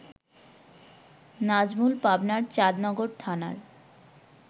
নাজমুল পাবনার চাঁদনগর থানার